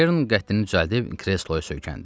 Ken qəddini düzəldib kresloya söykəndi.